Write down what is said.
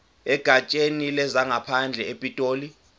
egatsheni lezangaphandle epitoli